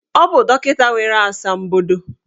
Ọ bụ dọkịta nwere asambodo.